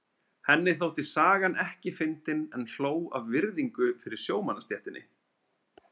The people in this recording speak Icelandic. Henni þótti sagan ekki fyndin en hló af virðingu fyrir sjómannastéttinni.